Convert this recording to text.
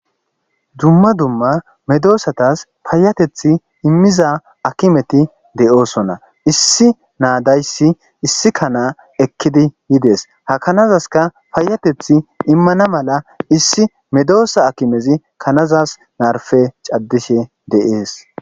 dumma dumma medoosatas fayatethi immiza akimeti de7oosona issi naadayssi issi kana ekkidi yides hakanazaska fayatethi immana mala issi medoosa akimezi kanazas naarfe caddishe de7ees